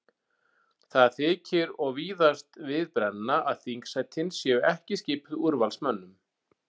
Það þykir og víðast við brenna að þingsætin séu ekki skipuð úrvalsmönnum.